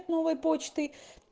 новой почты